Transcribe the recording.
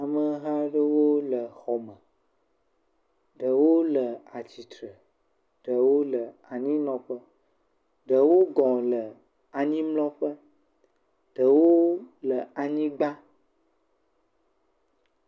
Ameha aɖewo le xɔ me. Ɖewo le atsitre, ɖewo le anyinɔƒe. Ɖewo le anyi mlɔ ƒe, ɖewo le anyigba